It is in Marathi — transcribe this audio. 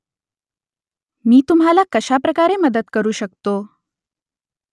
मी तुम्हाला कशाप्रकारे मदत करू शकतो ?